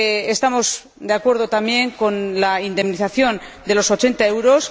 Estamos de acuerdo también con la indemnización de 80 euros.